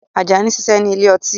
Ajani ń ṣiṣẹ́ ní ile-ọtí